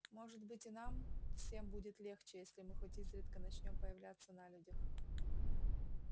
может быть и нам всем будет легче если мы хоть изредка начнём появляться на людях